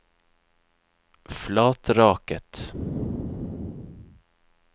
Flatraket